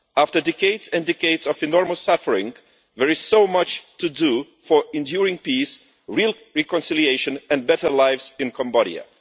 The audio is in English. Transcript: After decades and decades of enormous suffering, there is so much to do for enduring peace, real reconciliation and better lives in Cambodia.